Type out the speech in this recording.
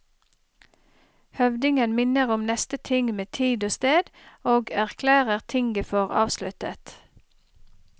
Høvdingen minner om neste ting med tid og sted, og erklærer tinget for avsluttet.